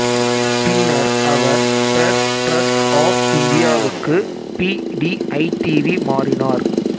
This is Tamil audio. பின்னர் அவர் பிரஸ் டிரஸ்ட் ஆஃப் இந்தியாவுக்கு பி டி ஐடிவி மாறினார்